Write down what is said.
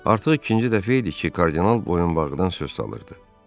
Artıq ikinci dəfə idi ki, kardinal boyunbağıdan söz salırdı.